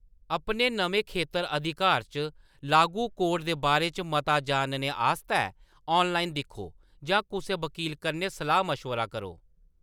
अपने नमें खेतर-अधिकार च लागू कोड दे बारे च मता जानने आस्तै ऑनलाइन दिक्खो जां कुसै वक़ील कन्नै सलाह्‌‌-मशबरा करो।